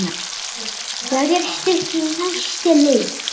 Það er stutt í næsta leik.